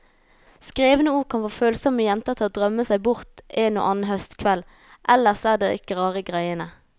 Skrevne ord kan få følsomme jenter til å drømme seg bort en og annen høstkveld, ellers er det ikke rare greiene.